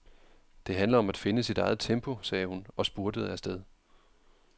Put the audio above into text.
Det handler om at finde sit eget tempo, sagde hun og spurtede afsted.